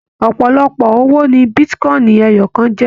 Ọpọlọpọ owó ní bitíkọ̀in ẹyọkan jẹ.